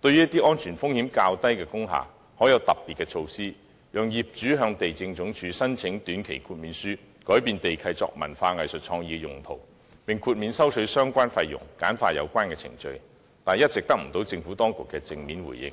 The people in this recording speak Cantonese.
對安全風險較低的工廈採取特別措施，讓業主可向地政總署申請短期豁免書，修改地契作文化、藝術創意用途，並豁免收取相關費用，簡化有關程序，但一直得不到政府當局的正面回應。